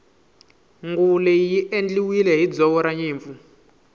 nguvu leyi i endliwile hi ndzoro ranyimpfu